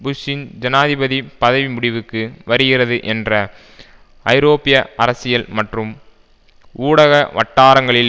புஷ்ஷின் ஜனாதிபதி பதவி முடிவுக்கு வருகிறது என்ற ஐரோப்பிய அரசியல் மற்றும் ஊடக வட்டாரங்களில்